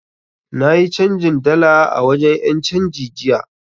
Na yi canjin dala a wajen 'yancanji jiya.